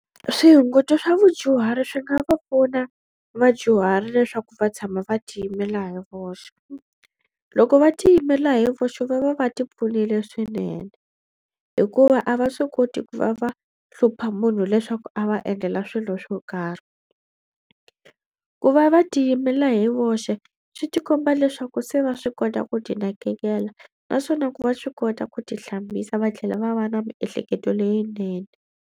Swihunguto swa vadyuhari swi nga va pfuna vadyuhari leswaku va tshama va tiyimela hi voxe. Loko va tiyimela hi voxe va va va ti pfunile swinene hikuva a va swi koti ku va va hlupha munhu leswaku a va endlela swilo swo karhi. Ku va va tiyimela hi voxe swi ti komba leswaku se va swi kota ku ti nakekela naswona ku va swi kota ku ti hlambisa va tlhela va va na miehleketo leyinene.